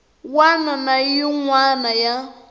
wana na yin wana ya